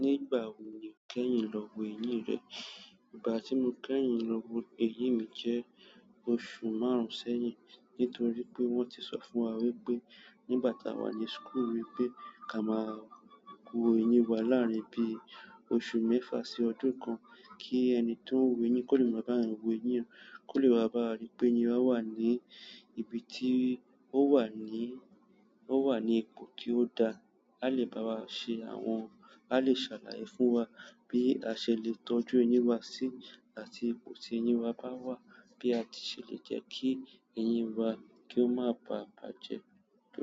Nígbà wo ni o kẹ́yìn lọ wo eyín rẹ? Ìgbà tí mo kẹ́yìn lọ wo eyín mi jẹ́ oṣù márùn-ún sẹ́yìn. Nítorí pé wọ́n ti sọ fún wa wípé, nígbàtí wà ní súkùlú wípé, ká máa wo eyín wa láàrín bí i oṣù mẹ́fà sí ọdún kan. Kí ẹni tó ń wo eyín kó lè mọ bí a ń wo eyín, kó lè bá wa rí pé eyín wa wà ní ibi tí ó wà ní, ó wà ní ipò tí ó da. A lè bá wa ṣe àwọn-- a lè ṣàlàyé fún wa bí a ṣe lè tọ́jú eyín wa síi àti ipò tí eyín wa bá wà, bí a ti ṣe lè jẹ́ kí eyín wa kí ó má bàa bàjẹ́.